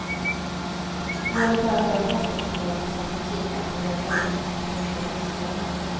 Målet är att göra fastighetsbolagen så attraktiva att de går att sälja till vettiga priser.